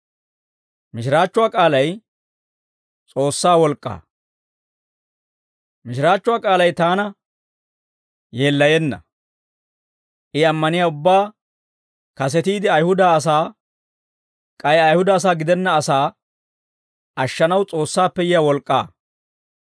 Mishiraachchuwaa k'aalay taana yeellayenna; I ammaniyaa ubbaa, kasetiide Ayihuda asaa k'ay Ayihuda gidenna asaa ashshanaw S'oossaappe yiyaa wolk'k'aa.